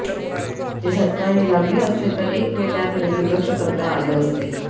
ते सत्कारणी लागले असते तर एक वेळ त्याकडे दुर्लक्ष करता आले असते